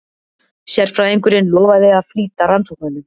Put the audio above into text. Sérfræðingurinn lofaði að flýta rannsóknunum.